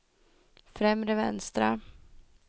främre vänstra